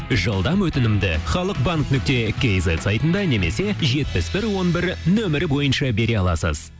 жылдам өтінімді халық банк нүкте кизет сайтында немесе жетпіс бір он бір нөмірі бойынша бере аласыз